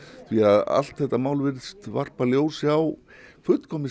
því að allt þetta mál virðist varpa ljósi á fullkomið